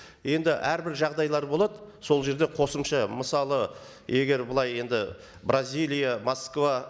енді әрбір жағдайлар болады сол жерде қосымша мысалы егер былай енді бразилия москва